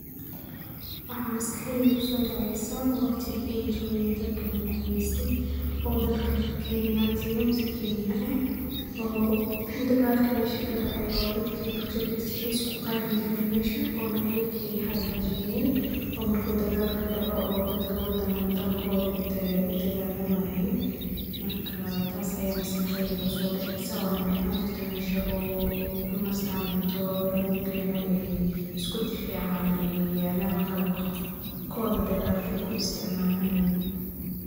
Waxa masqaxdeeyda kusodaceysah waqdikan ayjokeen dadka nakumeeystay oo dalka keenya amah keenyatika aah oo dilgalka mesha kadacay oo dadka pojokiiska isku qarinjirin meshan ona Ayaka hakajiyeen marku degalka dacoh oo dadkotha u digalamayeen marka taas Aya masqaxdeeyda kusodaceysah ona mxa ahaani jirtay mesha ay kinistan cuntotha lagu keenoh iskudifacan yalan qalabka degalka ku isticmalayen.